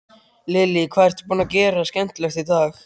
Lillý: Hvað ertu búinn að gera skemmtilegt í dag?